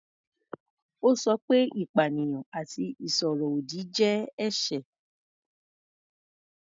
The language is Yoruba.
Ó sọ pé ìpanìyàn àti ìsọ̀rọ̀ ọ̀dì jẹ́ ẹ̀ṣẹ̀.